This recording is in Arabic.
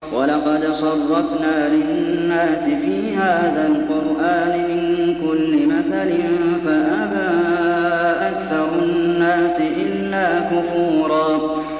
وَلَقَدْ صَرَّفْنَا لِلنَّاسِ فِي هَٰذَا الْقُرْآنِ مِن كُلِّ مَثَلٍ فَأَبَىٰ أَكْثَرُ النَّاسِ إِلَّا كُفُورًا